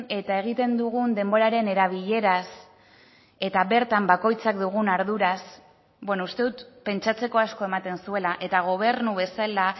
eta egiten dugun denboraren erabileraz eta bertan bakoitzak dugun arduraz beno uste dut pentsatzeko asko ematen zuela eta gobernu bezala